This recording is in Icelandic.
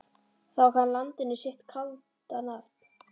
Þá gaf hann landinu sitt kalda nafn.